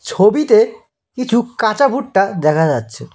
ছবিতে কিছু কাঁচা ভুট্টা দেখা যাচ্ছে।